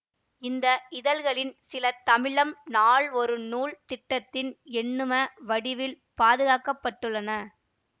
இந்த இதழ்களின் சில தமிழம் நாள் ஒரு நூல் திட்டத்தில் எண்ணிம வடிவில் பாதுகாக்க பட்டுள்ளன